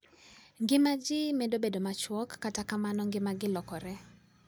Ngima ji medo bedo machuok, kata kamano, ngimagi lokore.